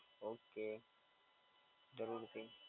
Okay જરૂરથી.